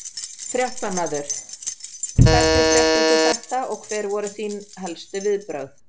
Fréttamaður: Hvenær fréttir þú þetta og hver voru þín helstu viðbrögð?